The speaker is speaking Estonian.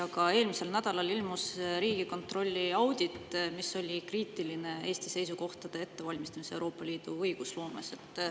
Aga eelmisel nädalal ilmus Riigikontrolli audit, mis oli kriitiline Eesti seisukohtade ettevalmistamise suhtes Euroopa Liidu õigusloomes.